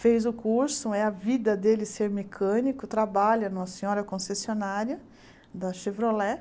Fez o curso né, é a vida dele ser mecânico, trabalha numa senhora concessionária da Chevrolet.